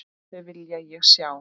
Þau vil ég sjá.